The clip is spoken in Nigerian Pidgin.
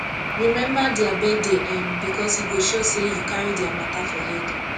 remember dia birthday um bikos e go show sey yu cari dia mata for head